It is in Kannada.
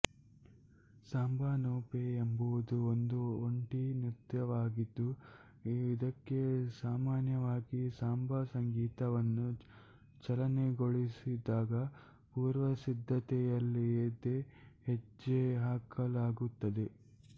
ಸಾಂಬಾ ನೋ ಪೆ ಎಂಬುದು ಒಂದು ಒಂಟಿ ನೃತ್ಯವಾಗಿದ್ದು ಇದಕ್ಕೆ ಸಾಮಾನ್ಯವಾಗಿ ಸಾಂಬಾ ಸಂಗೀತವನ್ನು ಚಾಲನೆಗೊಳಿಸಿದಾಗ ಪೂರ್ವಸಿದ್ಧತೆಯಿಲ್ಲದೆ ಹೆಜ್ಜೆ ಹಾಕಲಾಗುತ್ತದೆ